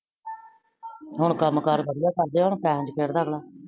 ਹੁਣ ਕਾਮ ਕਾਰ ਵਦੀਆ ਕਰਦੇ ਹੋ ਪੇਸੇ ਚ ਖੇਡ ਅਗਲਾ